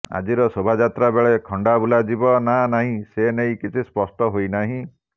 ଆଜିର ଶୋଭାଯାତ୍ରାବେଳେ ଖଣ୍ଡା ବୁଲାଯିବ ନା ନାହିଁ ସେ ନେଇ କିଛି ସ୍ପଷ୍ଟ ହୋଇନାହିଁ